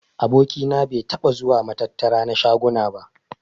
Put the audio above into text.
Aboki na bai taɓa zuwa matattara na shaguna ba.